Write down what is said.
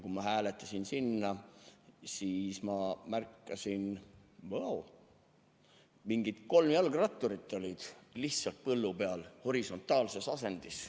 Kui ma sinna hääletasin, siis ma märkasin, et mingid kolm jalgratturit olid põllu peal horisontaalses asendis.